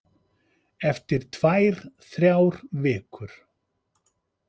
Eftir tvær, þrjár vikur.